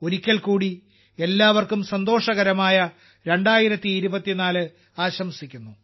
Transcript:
ഒരിക്കൽ കൂടി എല്ലാവർക്കും സന്തോഷകരമായ 2024 ആശംസിക്കുന്നു